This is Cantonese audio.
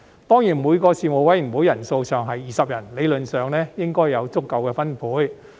當然，每個事務委員會人數上限是20人，理論上應該有足夠的分配。